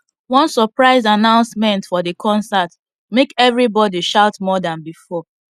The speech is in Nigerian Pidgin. one surprise announcement for the concert make everybody shout more than before